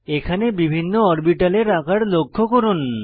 এখানে বিভিন্ন অরবিটালের আকার লক্ষ্য করুন